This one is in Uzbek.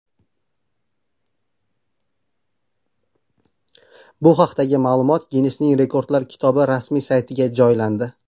Bu haqdagi ma’lumot Ginnesning Rekordlar kitobi rasmiy saytiga joylandi.